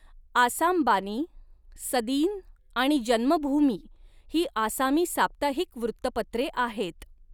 आसाम बानी, सदीन आणि जन्मभूमी ही आसामी साप्ताहिक वृत्तपत्रे आहेत.